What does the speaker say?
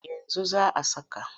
Yanzu za a saka.